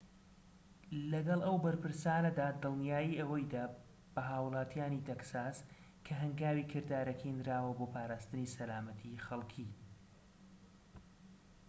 لەگەڵ ئەو بەرپرسانەدا دڵنیایی ئەوەی دا بە هاوڵاتیانی تەکساس کە هەنگاوی کردارەکی نراوە بۆ پاراستنی سەلامەتیی خەڵكی